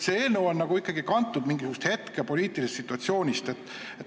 See eelnõu on ikkagi kantud mingisugusest poliitilisest hetkesituatsioonist.